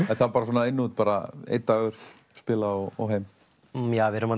er það bara svona inn út einn dagur spila og heim já við erum